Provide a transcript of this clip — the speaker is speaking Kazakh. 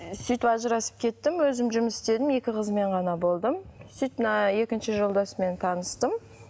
ы сөйтіп ажырасып кеттім өзім жұмыс істедім екі қызыммен ғана болдым сөйтіп мына екінші жолдасыммен таныстым